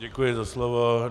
Děkuji za slovo.